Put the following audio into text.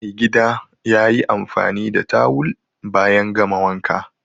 Maigida ya yi amfani da tawul bayan gama wanka